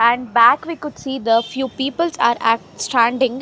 And back we could see the few peoples are standing.